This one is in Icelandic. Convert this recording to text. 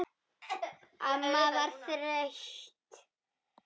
Amma var þreytt.